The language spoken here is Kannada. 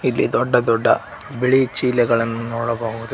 ಇಲ್ಲಿ ದೊಡ್ಡ ದೊಡ್ಡ ಬಿಳಿ ಚೀಲಗಳನ್ನು ನೋಡಬಹುದು.